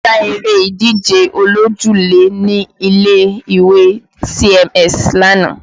A ṣe eré ìdíje olójúlé ní ilé ìwé CMS lánàá